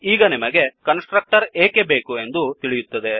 ಈಗ ನಿಮಗೆ constructor ಏಕೆ ಬೇಕು ಎಂಬುದು ತಿಳಿಯುತ್ತದೆ